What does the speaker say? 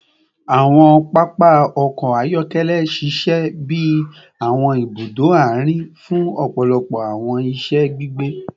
Awọn papa ọkọ ayọkẹlẹ ṣiṣẹ bi awọn ibudo aarin fun ọpọlọpọ awọn iṣẹ gbigbe